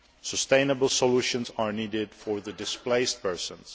Sustainable solutions are needed for displaced persons.